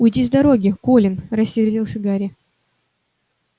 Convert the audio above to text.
уйди с дороги колин рассердился гарри